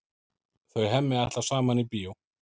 Þau Hemmi ætla saman í bíó.